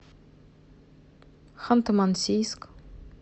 ханты мансийск